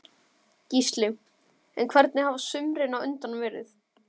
Gísli: En hvernig hafa sumrin á undan verið?